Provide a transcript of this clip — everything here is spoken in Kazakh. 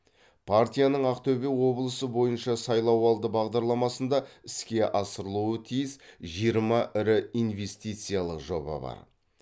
партияның ақтөбе облысы бойынша сайлауалды бағдарламасында іске асырылуы тиіс жиырма ірі инвестициялық жоба бар